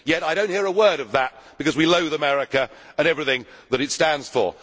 Yet I do not hear a word of that, because we loathe America and everything that it stands for.